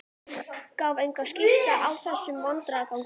Gaf enga skýringu á þessum vandræðagangi.